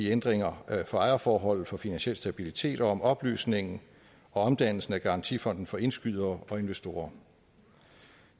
ændringerne af ejerforholdet for finansiel stabilitet og om opløsningen og omdannelsen af garantifonden for indskydere og investorer